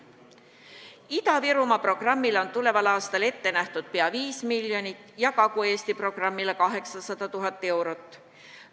Ida-Virumaa programmile on tuleval aastal ette nähtud pea 5 miljonit ja Kagu-Eesti programmile 800 000 eurot.